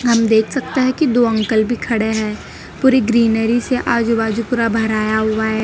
हम देख सकते हैं कि दो अंकल भी खड़े हैं पूरी ग्रीनरी से आजू बाजू पूरा भराया हुआ है।